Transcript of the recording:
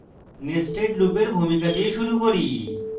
nested loop এর ভূমিকা দিয়ে শুরু করি